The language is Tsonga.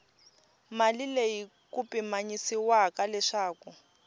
mali leyi ku pimanyisiwaka leswaku